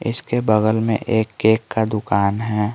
इसके बगल में एक केक का दुकान है।